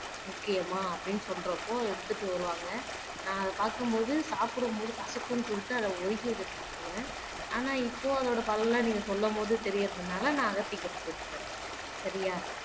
முக்கியமா அப்படின்னு சொல்றப்போ எடுத்துட்டு வருவாங்க நான் அத பார்க்கும் போது சாப்பிடு போது கசப்புன்னு சொல்லிட்டு அத ஒதுக்கி வச்சுட்டு சாப்பிடுவேன் ஆனா இப்போ அதோட பலன் எல்லாம் நீங்க சொல்லும் போது தெரியறதுனாலே நான் அகத்திக்கீரை சேர்த்துக்கிறேன் சரியா